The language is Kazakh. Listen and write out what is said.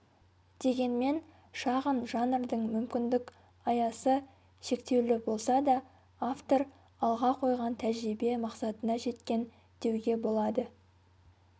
дегенмен шағын жанрдың мүмкіндік аясы шектеулі болса да автор алға қойған тәжірибе мақсатына жеткен деуге болады